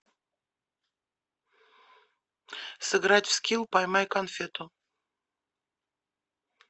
сыграть в скил поймай конфету